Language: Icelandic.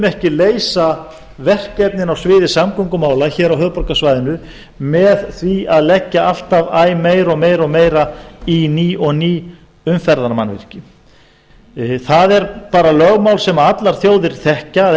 ekki leysa verkefnin á sviði samgöngumála hér á höfuðborgarsvæðinu með því að leggja alltaf æ meira og meira í ný og ný umferðarmannvirki það er bara lögmál sem allar þjóðir þekkja að